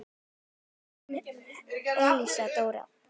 Þín Elsa Dóra.